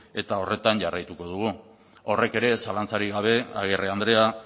eta horretan jarraituko dugu horrek ere zalantzarik gabe agirre andrea